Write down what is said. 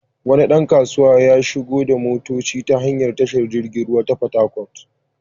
Wani ɗan kasuwa ya shigo da motoci ta hanyar tashar jirgin ruwa ta Fatakwal.